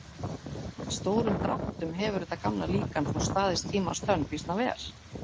Í stórum dráttum hefur þetta gamla líkan þó staðist tímans tönn býsna vel.